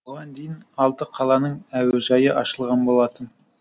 бұған дейін алты қаланың әуежайы ашылған болатын